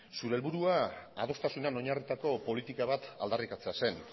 zure helburua adostasunean oinarritutako politika bat aldarrikatzea zen